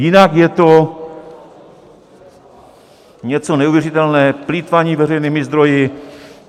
Jinak je to něco neuvěřitelného, plýtvání veřejnými zdroji.